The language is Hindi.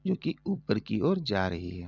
जोकि ऊपर की ओर जा रही है।